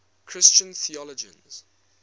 christian theologians